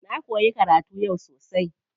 Na koyi karatu yau sosai.